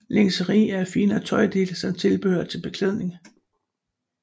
Lingeri er finere tøjdele samt tilbehør til beklædning